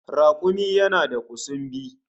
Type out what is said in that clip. Rakumi yana da kusumbi